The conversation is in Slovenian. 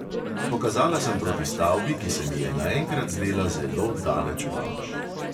Pokazala sem proti stavbi, ki se mi je naenkrat zdela zelo daleč proč.